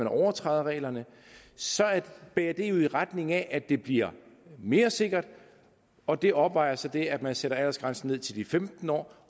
overtræder reglerne bærer det jo i retning af at det bliver mere sikkert og det opvejer så det at man sætter aldersgrænsen ned til de femten år